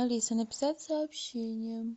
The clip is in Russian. алиса написать сообщение